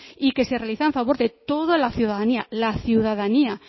y que se realiza en favor toda la ciudadanía la ciudadanía